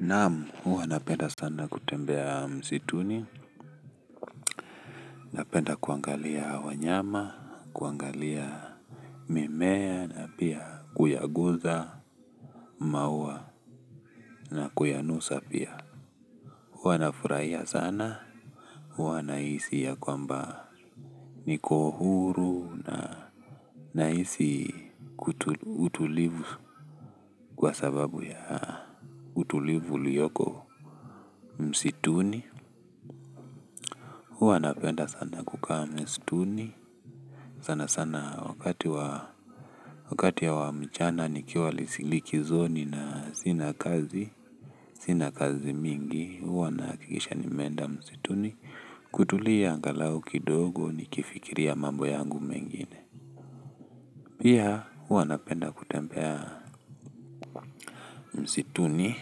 Naam, huwa napenda sana kutembea msituni, napenda kuangalia wanyama, kuangalia mimea, na pia kuyaguza, maua, na kuyanusa pia. Huwa nafurahia sana, huwa nahisi ya kwamba niko huru, nahisi utulivu kwa sababu ya utulivu ulioko msituni. Huwa napenda sana kukaa msituni, sanasana wakati wa, wakati wa mchana nikiwa likizoni na sina kazi, sina kazi mingi huwa nahakikisha nimenda msituni kutulia angalau kidogo nikifikiria mambo yangu mengine. Pia, huwa napenda kutembea msituni.